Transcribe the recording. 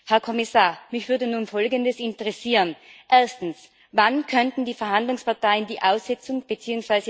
Herr Kommissar, mich würde nun Folgendes interessieren Erstens Wann könnten die Verhandlungsparteien die Aussetzung bzw.